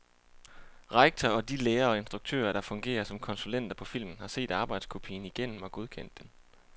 Rektor og de lærere og instruktører, der fungerer som konsulenter på filmen, har set arbejdskopien igennem og godkendt den.